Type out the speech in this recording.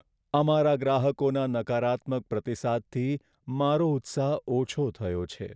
અમારા ગ્રાહકોના નકારાત્મક પ્રતિસાદથી મારો ઉત્સાહ ઓછો થયો છે.